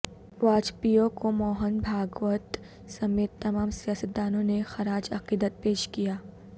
واجپئی کوموہن بھاگوت سمیت تمام سیاستدانوں نے خراج عقیدت پیش کیا